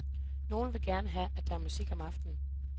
Nogle vil gerne have, at der er musik om aftenen.